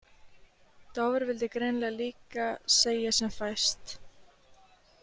Dofri vildi greinilega líka segja sem fæst.